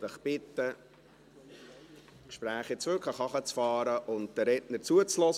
Ich möchte Sie bitten, die Gespräche jetzt wirklich herunterzufahren und den Rednern zuzuhören.